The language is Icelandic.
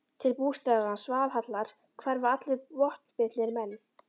Til bústaðar hans, Valhallar, hverfa allir vopnbitnir menn.